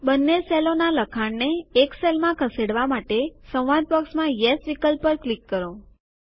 બંને સેલોનાં લખાણને એક સેલમાં ખસેડવા માટે સંવાદ બોક્સમાં યેસ વિકલ્પ પર ક્લિક કરો